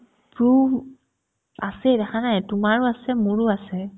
সৰুহো আছে দেখা নাই তোমাৰো আছে মোৰো আছে